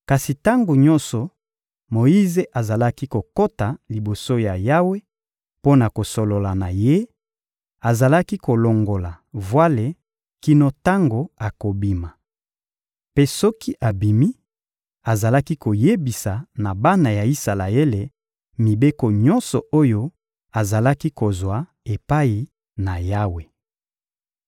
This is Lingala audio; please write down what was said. Kasi tango nyonso Moyize azalaki kokota liboso ya Yawe mpo na kosolola na Ye, azalaki kolongola vwale kino tango akobima. Mpe soki abimi, azalaki koyebisa na bana ya Isalaele mibeko nyonso oyo azalaki kozwa epai na Yawe.